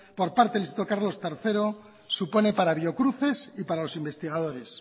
por parte del instituto carlo tercero supone para biocruces y para los investigadores